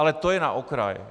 Ale to jen na okraj.